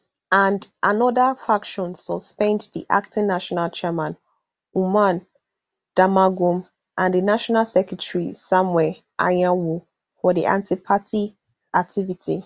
and anoda faction suspend di acting national chairman umar damagum and di national secretary samuel anyanwu for antiparty activity